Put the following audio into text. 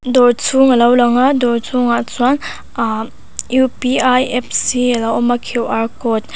dawr chhung a lo lang a dawr chhungah chuan aahh apps hi a lo awm a code --